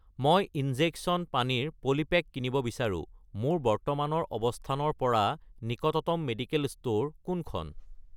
মই ইনজেকচন পানীৰ পলিপেক কিনিব বিচাৰোঁ, মোৰ বৰ্তমানৰ অৱস্থানৰ পৰা নিকটতম মেডিকেল ষ্ট'ৰ কোনখন?